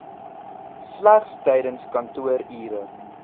slegs tydens kantoorure